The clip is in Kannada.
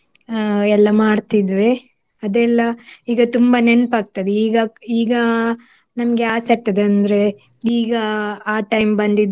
ಅಹ್ ಎಲ್ಲ ಮಾಡ್ತಿದ್ವಿ. ಅದೆಲ್ಲ ಈಗ ತುಂಬ ನೆನ್ಪಾಗ್ತದೆ ಈಗ ಈಗ ನಮ್ಗೆ ಆಸೆ ಆಗ್ತದೆ ಅಂದ್ರೆ ಈಗ ಆ time ಬಂದಿದ್ರೆ